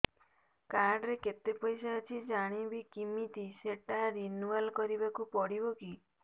card ରେ କେତେ ପଇସା ଅଛି ଜାଣିବି କିମିତି ସେଟା ରିନୁଆଲ କରିବାକୁ ପଡ଼ିବ କି